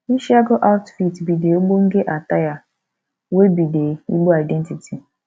isiagu outfit be de ogbenge attire wey be de igbo identity